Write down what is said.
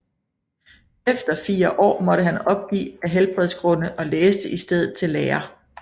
Efter fire år måtte han opgive af helbredsgrunde og læste i stedet til lærer